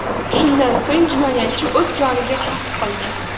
Shundan so‘ng jinoyatchi o‘z joniga qasd qildi.